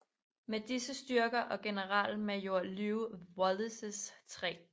Med disse styrker og generalmajor Lew Wallaces 3